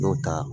N'o ta